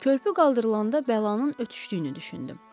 Körpü qaldırılanda bəlanın ötüşdüyünü düşündüm.